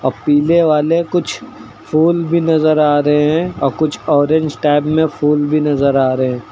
पीले वाले कुछ फूल भी नजर आ रहे हैं आ कुछ ऑरेंज टाइप में फूल भी नजर आ रहे--